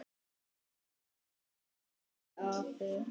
Það sagði afi.